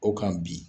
O kan bi